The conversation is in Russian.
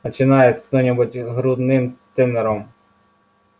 начинает кто-нибудь грудным тенором